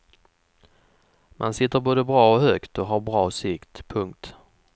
Man sitter både bra och högt och har bra sikt. punkt